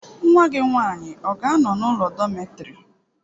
Nwa gị nwany ị ọ ga-anọ n'ụlọ dọmetịrị?